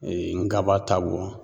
nkaba ta bɔn